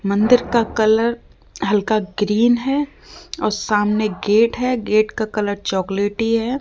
मंदिर का कलर हल्का ग्रीन है और सामने गेट है गेट का कलर चॉकलेटी है।